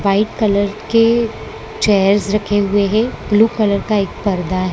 White colour के chairs रखे हुए हैं ब्लू कलर का एक पर्दा है।